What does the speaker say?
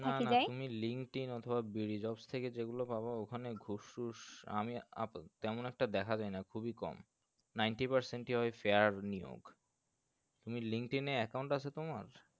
তুমি linkedin অথবা BDJobs থেকে যেগুলো পাবা ওখানে ঘুষ টুস আমি আ তেমন একটা দেখা যায় না খুবই কম ninety percent ই হয় fair নিয়োগ তুমি linkedin account আসে তোমার